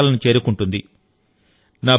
ఉన్నత శిఖరాలను చేరుకుంటుంది